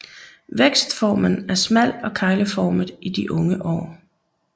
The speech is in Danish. Vækstformen er smal og kegleformet i de unge år